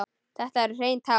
Þetta eru hrein tár.